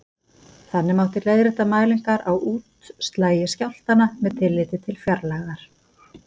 Þannig mátti leiðrétta mælingar á útslagi skjálftanna með tilliti til fjarlægðar.